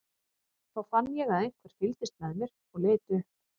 Þá fann ég að einhver fylgdist með mér og leit upp.